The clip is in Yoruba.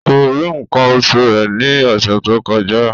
Kò rí nǹkan oṣù rẹ̀ ní ọ̀sẹ̀ tó kọjá